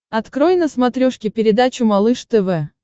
открой на смотрешке передачу малыш тв